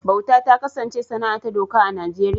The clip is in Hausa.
Bauta ta kasance sana’a ta doka a Najeriya